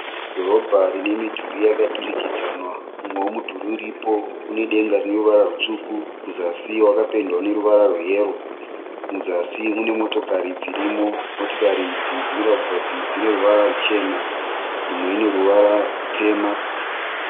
Dhorobha rine midhuri yakadurikidzanwa. Umwewo mudhuri uripo unedenga rine ruvara rutsvuku kuzasi wakapendwa neruvara rweyero . Muzasi mune motokari dzirimo, motokari idzi dzinoratidza kuti dzine ruvara ruchena. Imwe ine ruvara rutema.